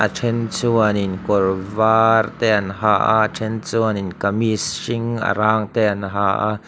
a then chuanin kawr var te an ha a a then chuanin kamis hring a rang te an ha a.